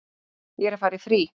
Ég er að fara í frí.